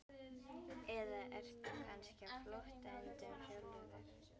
Eða ertu kannski á flótta undan sjálfum þér?